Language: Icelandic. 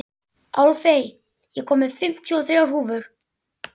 Álfey, ég kom með fimmtíu og þrjár húfur!